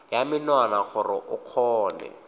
ya menwana gore o kgone